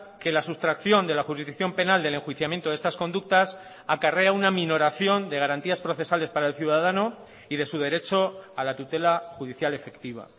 que la sustracción de la jurisdicción penal del enjuiciamiento de estas conductas acarrea una minoración de garantías procesales para el ciudadano y de su derecho a la tutela judicial efectiva